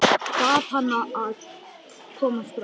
Bað hana að koma strax.